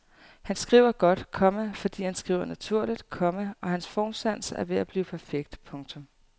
Han skriver godt, komma fordi han skriver naturligt, komma og hans formsans er ved at blive perfekt. punktum